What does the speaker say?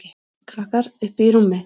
Krakkar: Uppi í rúmi.